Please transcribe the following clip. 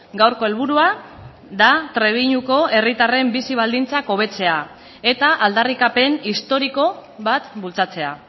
gaurko helburua da trebiñuko herritarren bizi baldintzak hobetzea eta aldarrikapen historiko bat bultzatzea